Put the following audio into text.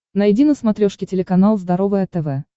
найди на смотрешке телеканал здоровое тв